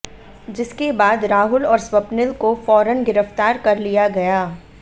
जिसके बाद राहुल और स्वप्निल को फौरन गिरफ्तार कर लिया गया